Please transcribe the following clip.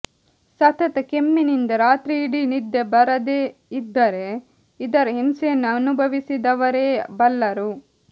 ಸತತ ಕೆಮ್ಮಿನಿಂದ ರಾತ್ರಿಯಿಡೀ ನಿದ್ದೆ ಬರದೇ ಇದ್ದರೆ ಇದರ ಹಿಂಸೆಯನ್ನು ಅನುಭವಿಸಿದವರೇ ಬಲ್ಲರು